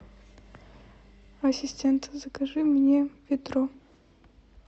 ассистент закажи мне ведро